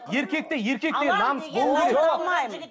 еркекте еркектей намыс болу керек